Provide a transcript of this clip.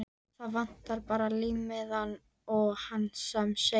Það vantar bara límmiðann á hann sem segir